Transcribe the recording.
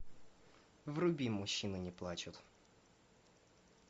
вруби мужчины не плачут